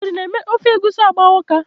Ogiri na-eme ofe egusi agba ụka.